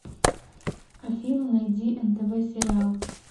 афина найди нтв сериал